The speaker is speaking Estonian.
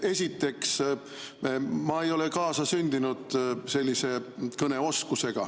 Esiteks, mul ei ole kaasasündinud selline kõneoskus.